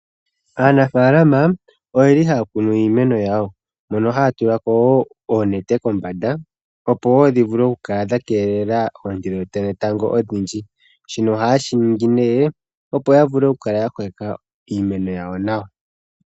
Aanafalama oye li haya kunu iimeno yawo, mono haya tulako oonete kombanda, opo dhivule okukala dha keelela oonte dhetango odhindji. Shino ohaye shiningi opo yavule okukala ya kokeka iimeno yawo nawa.